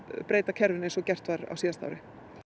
breyta kerfinu eins og gert var á síðasta ári